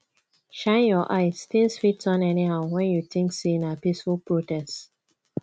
shine your eye tins fit turn anyhow when you tink sey na peaceful protest